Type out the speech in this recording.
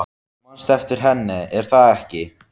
Þú manst eftir henni, er það ekki?